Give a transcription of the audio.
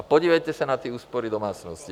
A podívejte se na ty úspory domácností.